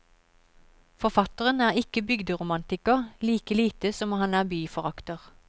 Forfatteren er ikke bygderomantiker, like lite som han er byforakter.